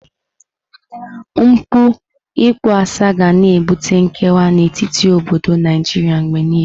Mpụ ịkpọasị ga na-ebute nkewa n'etiti obodo Naijiria mgbe niile.